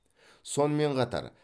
сонымен қатар